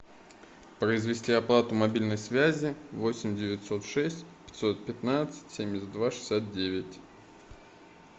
произвести оплату мобильной связи восемь девятьсот шесть пятьсот пятнадцать семьдесят два шестьдесят девять